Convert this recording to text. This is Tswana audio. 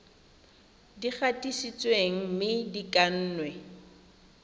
di gatisitsweng mme di kannwe